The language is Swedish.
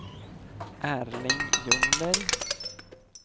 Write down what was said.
Erling Ljungberg